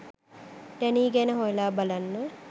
Denis ගැන හොයලා බලන්න